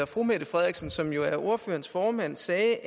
fru mette frederiksen som jo er ordførerens formand sagde